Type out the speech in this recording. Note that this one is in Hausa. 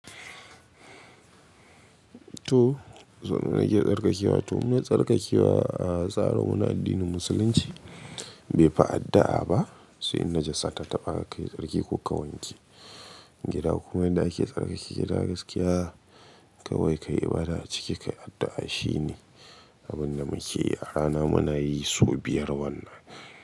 To, some na ke tsarkakewa. To muna tsarkakewa a tsaro muna addinin musulunci bai fi addu'a ba. Sai inda jasa ta taɓa ka yi tsarki ko ka wanke gida. Kuma inda ake tsarkake gida gaskiya kawai ka yi ibada a ciki, ka yi addu'a shine abin da muke yi. Yara na muna yi su biyar wannan.